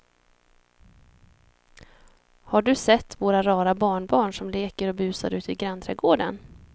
Har du sett våra rara barnbarn som leker och busar ute i grannträdgården!